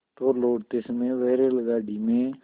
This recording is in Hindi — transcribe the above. तो लौटते समय वह रेलगाडी में